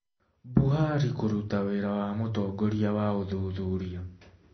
Buhari kũruta wĩra wa mũtongoria wa ũthuthuria